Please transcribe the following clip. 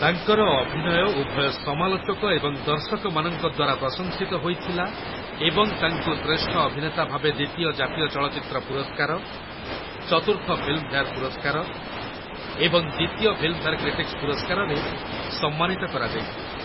ତାଙ୍କର ଅଭିନୟ ଉଭୟ ସମାଲୋଚକ ଏବଂ ଦର୍ଶକମାନଙ୍କ ଦ୍ୱାରା ପ୍ରଶଂସିତ ହୋଇଥିଲା ଏବଂ ତାଙ୍କୁ ଶ୍ରେଷ୍ଠ ଅଭିନେତା ଭାବେ ଦ୍ୱିତୀୟ ଜାତୀୟ ଚଳଚ୍ଚିତ୍ର ପୁରସ୍କାର, ଚତୁର୍ଥ ଫିଲ୍ମଫେୟାର୍ ପୁରସ୍କାର ଏବଂ ଦ୍ୱିତୀୟ ଫିଲ୍ମଫେୟାର କ୍ରିଟିକ୍ସ୍ ପୁରସ୍କାରରେ ସମ୍ମାନିତ କରାଯାଇଥିଲା ।